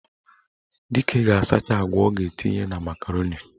Dike ga-asacha agwa ọ ga-etinye na makaroni.